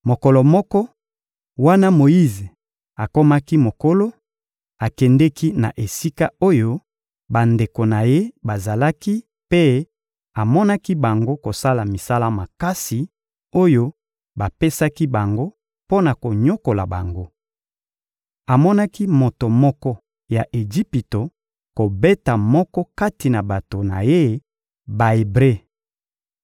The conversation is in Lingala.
Mokolo moko, wana Moyize akomaki mokolo, akendeki na esika oyo bandeko na ye bazalaki mpe amonaki bango kosala misala makasi oyo bapesaki bango mpo na konyokola bango. Amonaki moto moko ya Ejipito kobeta moko kati na bato na ye Ba-Ebre.